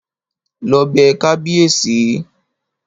Lọ bẹ kábíèsí!